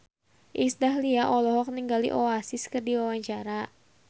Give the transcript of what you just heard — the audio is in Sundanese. Iis Dahlia olohok ningali Oasis keur diwawancara